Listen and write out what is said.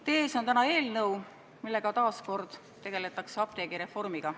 Teie ees on eelnõu, millega taas kord tegeletakse apteegireformiga.